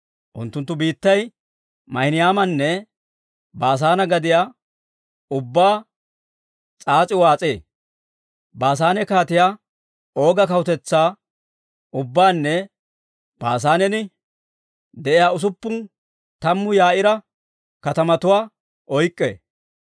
Unttunttu biittay Maahinaymanne Baasaane gadiyaa ubbaa s'aas'i waas'ee; Baasaane Kaatiyaa Ooga kawutetsaa ubbaanne Baasaanen de'iyaa usuppun tammu Yaa'iira katamatuwaa oyk'k'ee.